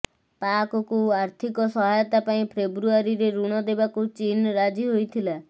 ପାକକୁ ଆର୍ଥିକ ସହାୟତା ପାଇଁ ଫେବୃଆରୀରେ ଋଣ ଦେବାକୁ ଚୀନ ରାଜି ହୋଇଥିଲା